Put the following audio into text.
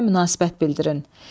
Fikrinizə münasibət bildirin.